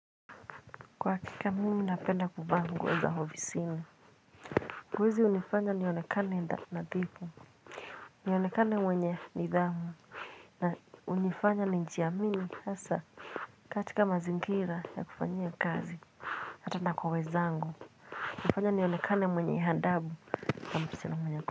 Kwa hakika, mimi napenda kuvaa nguo za hovisini. Nguo hizi unifanya nionekane nadhipo. Nionekane mwenye nidhamu na unifanya niji amini hasa, katika mazingira, ya kufanyia kazi. Hata na kwa wezaangu nafanya nionekane mwenye adabu na msichana mwenye ako.